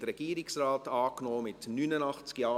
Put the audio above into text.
]/ Regierungsrat Antrag